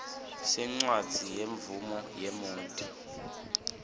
sencwadzi yemvumo yemoti